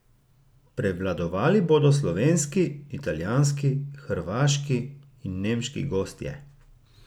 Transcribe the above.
Prevladovali bodo slovenski, italijanski, hrvaški in nemški gostje.